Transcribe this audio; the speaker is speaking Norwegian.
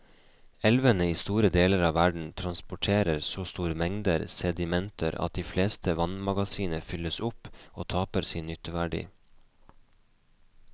Elvene i store deler av verden transporterer så store mengder sedimenter at de fleste vannmagasiner fylles opp og taper sin nytteverdi.